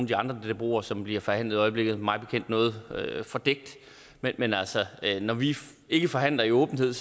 de andre dboer som bliver forhandlet i øjeblikket mig bekendt noget fordækt men men altså når vi ikke forhandler i åbenhed